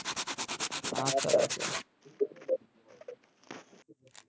আর আচ্ছা রাখলাম